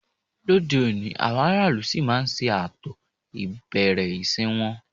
Lóde òní, àwọn aráàlú ṣì máa ń ṣe ààtò ìbẹ̀rẹ̀ ìsìn wọn